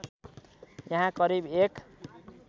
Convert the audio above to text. यहाँ करिब १